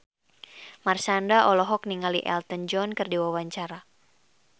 Marshanda olohok ningali Elton John keur diwawancara